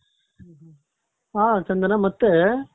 ಹಾ ಚಂದನ ಮತ್ತೆ ಪೋಷಕರ